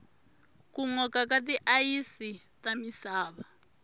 ku noka ka ti ayisi ta misava